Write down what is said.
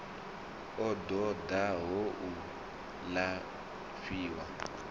a ṱo ḓaho u lafhiwa